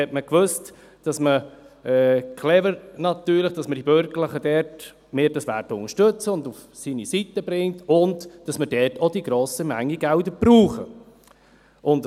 Man wusste bei den Verkehrsprojekten natürlich, dass wir Bürgerlichen dies unterstützen werden – das war clever –, dass man uns auf seine Seite bringt und dass wir dort auch die grosse Menge an Geldern brauchen.